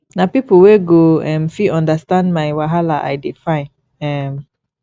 na pipo wey go um fit understand my wahala i dey find um